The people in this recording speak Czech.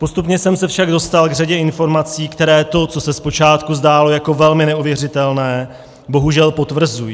Postupně jsem se však dostal k řadě informací, které to, co se zpočátku zdálo jako velmi neuvěřitelné, bohužel potvrzují.